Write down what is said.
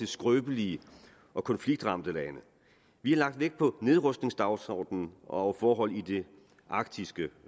skrøbelige og konfliktramte lande vi har lagt vægt på nedrustningsdagsordenen og forholdene i det arktiske